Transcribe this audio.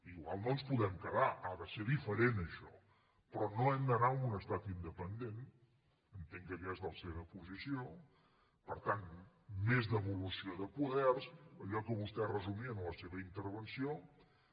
igual no ens hi podem quedar ha de ser diferent això però no hem d’anar a un estat independent entenc que aquesta és la seva posició per tant més devolució de poders allò que vostè resumia en la seva intervenció